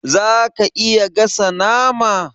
Zaka iya gasa nama?